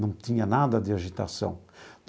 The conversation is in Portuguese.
Não tinha nada de agitação.